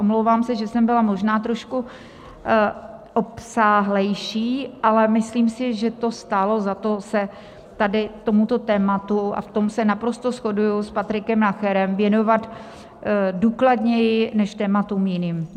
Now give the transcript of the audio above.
Omlouvám se, že jsem byla možná trošku obsáhlejší, ale myslím si, že to stálo za to se tady tomuto tématu, a v tom se naprosto shoduji s Patrikem Nacherem, věnovat důkladněji než tématům jiným.